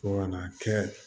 Fo kana kɛ